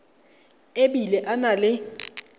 e bile a na le